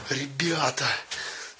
ребята